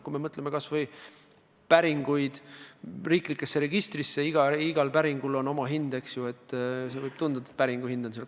Kui mõtleme kas või riiklikesse registritesse tehtavate päringute peale, siis igal päringul on oma hind.